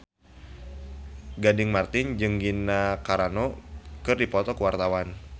Gading Marten jeung Gina Carano keur dipoto ku wartawan